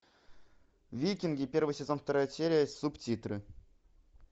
викинги первый сезон вторая серия субтитры